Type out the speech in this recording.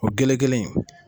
O gelegele in